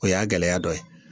O y'a gɛlɛya dɔ ye